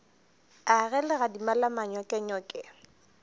a ge legadima la manyokenyoke